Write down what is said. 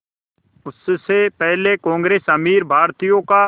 उससे पहले कांग्रेस अमीर भारतीयों का